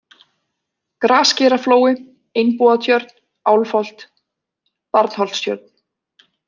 Grasgeiraflói, Einbúatjörn, Álfholt, Barnholtstjörn